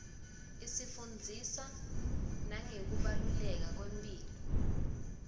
isifundzisa nangekubaluleka kwemphilo